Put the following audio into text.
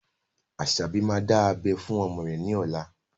Asabi máa dá abẹ́ fún ọmọ rẹ ní ọ̀la